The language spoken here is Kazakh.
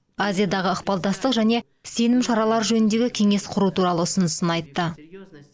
азиядағы ықпалдастық және сенім шаралары жөніндегі кеңес құру туралы ұсынысын айтты